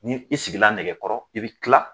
Ni i sigila nɛgɛkɔrɔ i bɛ kila